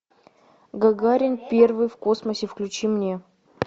гагарин первый в космосе включи мне